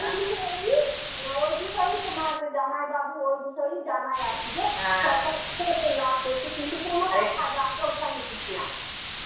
ওই বিষয়েই আ ওই বিষয়েই তোমার জামাইবাবু ওই বিষয়েই জানায় আর কি যে সরকার লাভ দেখছে কিন্তুটা কোনটা Hindi ওঠায়নি কিছুনা.